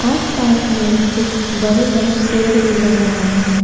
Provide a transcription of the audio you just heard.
आस पास में कुछ बड़े बड़े पेड़ भी नजर आ रहे हैं।